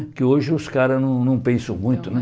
Porque hoje os caras não não pensam muito, né?